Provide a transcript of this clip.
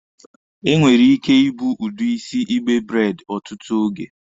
E nwere ike ibu udi isi igbe braidi ọtụtụ oge.